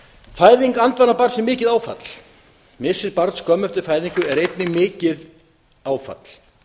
fæðing andvana barns er mikið áfall missir barns skömmu eftir fæðingu er einnig mikið áfall